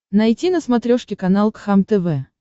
найти на смотрешке канал кхлм тв